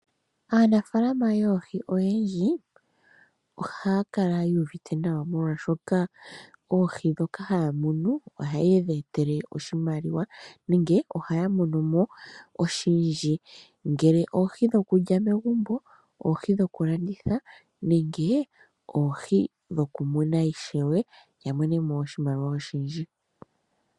Aanafaalama yoohi oyendji ohaya kala yu uvite nawa molwaashoka oohi ndhoka haya munu ohadhi ya etele oshimaliwa nenge ohaya mono mo oshindji, ngele oohi dhokulya megumbo, oohi dhokulanditha nenge oohi dhokumuna ishewe ya mone mo oshimaliwa oshindji.